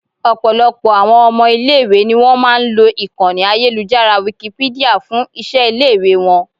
Ọ̀pọ̀lọpọ̀ àwọn ọmọ ilẹ̀ ìwé ni wón máa lo ìkànnì ayélujára Wikipedia fún iṣẹ́ ilé ìwé wọn.